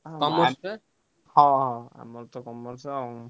ହଁ ହଁ ଆମର ତ Commerce ଆଉ।